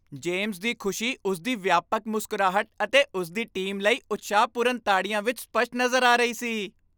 James ਦੀ ਖੁਸ਼ੀ ਉਸ ਦੀ ਵਿਆਪਕ ਮੁਸਕਰਾਹਟ ਅਤੇ ਉਸ ਦੀ ਟੀਮ ਲਈ ਉਤਸ਼ਾਹਪੂਰਨ ਤਾੜੀਆਂ ਵਿੱਚ ਸਪੱਸ਼ਟ ਨਜ਼ਰ ਆ ਰਹੀ ਸੀ।